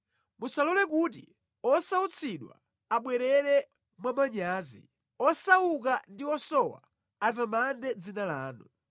Musalole kuti osautsidwa abwerere mwamanyazi; osauka ndi osowa atamande dzina lanu.